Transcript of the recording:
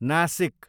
Nashik